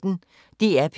DR P1